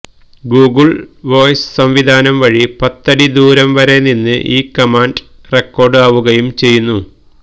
Google voice സംവിധാനം വഴി പത്ത് അടി ദൂരം വരെ നിന്ന് ഈ കമാന്ഡ് റെക്കോർഡ് ആവുകയും ചെയ്യും